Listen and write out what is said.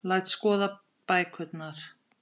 Læst skoða bækurnar.